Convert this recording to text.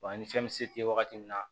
ani fɛn bɛ se tɛ wagati min na